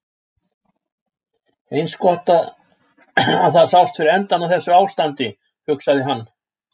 Eins gott að það sást fyrir endann á þessu ástandi, hugsaði hann.